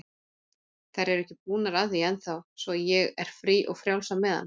Þær eru ekki búnar að því ennþá, svo ég er frí og frjáls á meðan.